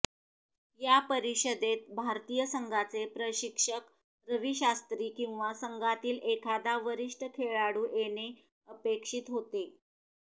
या परिषदेत भारतीय संघाचे प्रशिक्षक रवी शास्त्री किंवा संघातील एखादा वरिष्ठ खेळाडू येणे अपेक्षित होते